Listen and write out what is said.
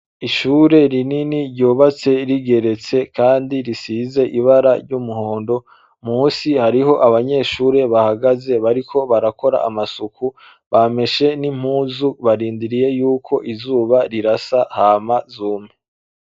Ishure rinini ryubatse rigeretse kandi risize ibara ry'umuhondo. Musi hariho abanyeshure bahagaze bariko barakora amasuku, bameshe n'impuzu barindiriye yuko izuba rirasa hama zume.